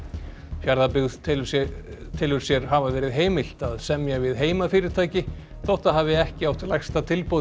Fjarðabyggð telur sér telur sér hafa verið heimilt að semja við heimafyrirtæki þótt það hafi ekki átt lægsta tilboð í